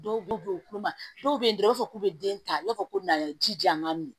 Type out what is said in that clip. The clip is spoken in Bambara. Dɔw b'u bonya dɔw bɛ yen dɔrɔn u b'a fɔ k'u bɛ den ta i b'a fɔ ko bɛna ji ja man min